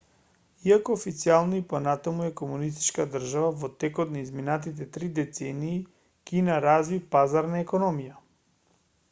иако официјално и понатаму е комунистичка држава во текот на изминатите три децении кина разви пазарна економија